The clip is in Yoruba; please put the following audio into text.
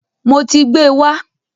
Mo ti gbẹ́ wá.